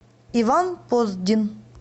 иван поздин